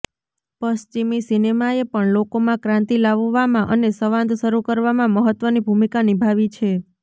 પશ્ચિમી સિનેમાએ પણ લોકોમાં ક્રાંતિ લાવવામાં અને સંવાદ શરૂ કરવામાં મહત્વની ભૂમિકા નિભાવી છે